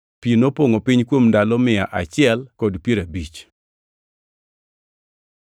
Pi nopongʼo piny kuom ndalo mia achiel kod piero abich.